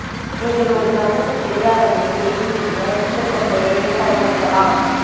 நீங்கள் ஒரு கண்ணுக்கு தெரியாத மை செய்தி எழுத கிட்டத்தட்ட எதையும் பயன்படுத்தலாம்